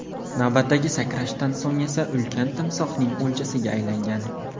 Navbatdagi sakrashdan so‘ng esa ulkan timsohning o‘ljasiga aylangan.